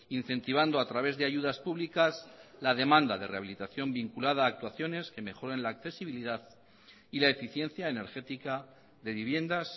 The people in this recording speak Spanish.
incentivando a través de ayudas públicas la demanda de rehabilitación vinculada a actuaciones que mejoren la accesibilidad y la eficiencia energética de viviendas